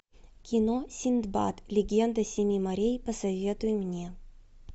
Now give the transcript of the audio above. кино синдбад легенда семи морей посоветуй мне